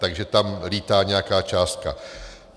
Takže tam lítá nějaká částka.